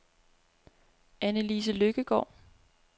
Anna-Lise Lykkegaard